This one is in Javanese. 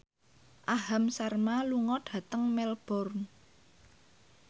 Aham Sharma lunga dhateng Melbourne